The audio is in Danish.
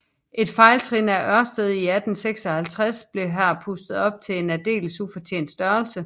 Et fejltrin af Ørsted i 1856 blev her pustet op til en aldeles ufortjent størrelse